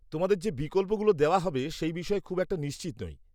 -তোমাদের যে বিকল্পগুলো দেওয়া হবে সেই বিষয়ে খুব একটা নিশ্চিত নই।